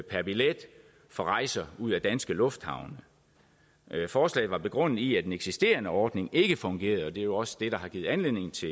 per billet for rejser ud af danske lufthavne forslaget var begrundet i at den eksisterende ordning ikke fungerede og det er jo også det der har givet anledning til